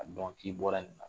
A dɔn k'i bɔra nin na.